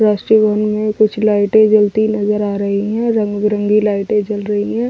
राष्ट्रीय भवन में कुछ लाइटें जलती नजर आ रही हैं रंग बरंगी लाइटें जल रही हैं।